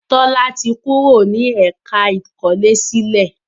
Tola to fí Títí wá ní apá ikole sílè.